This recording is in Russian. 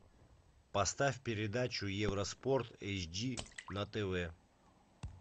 поставь передачу евроспорт эйч ди на тв